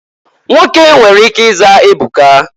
Nwoke nwere ike ịza Ebuka.